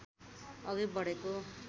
अघि बढेको